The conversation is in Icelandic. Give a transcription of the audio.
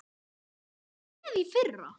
Varstu með í fyrra?